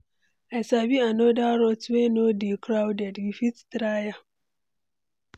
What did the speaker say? I sabi another route wey no dey crowded, we fit try am.